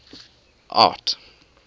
art